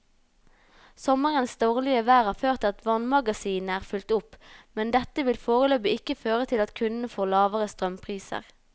Sommerens dårlige vær har ført til at vannmagasinene er fylt opp, men dette vil foreløpig ikke føre til at kundene får lavere strømpriser.